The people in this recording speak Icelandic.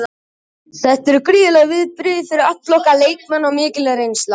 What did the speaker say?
Þetta eru gríðarleg viðbrigði fyrir alla okkar leikmenn og mikil reynsla.